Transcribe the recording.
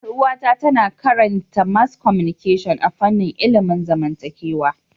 Yar uwata tana karanta mass communication a fanin ilimin zamantakewa